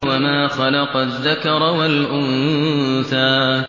وَمَا خَلَقَ الذَّكَرَ وَالْأُنثَىٰ